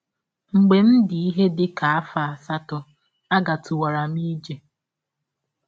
Mgbe m dị ihe dị ka dị ka afọ asatọ, agatụwara m ije.